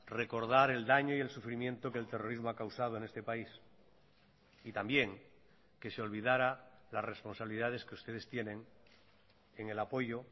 recordar el daño y el sufrimiento que el terrorismo ha causado en este país y también que se olvidara las responsabilidades que ustedes tienen en el apoyo